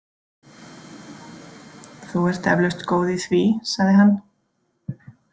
Þú ert eflaust góð í því, sagði hann.